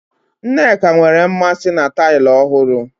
Nneka nwere mmasị na taịlị ọhụrụ.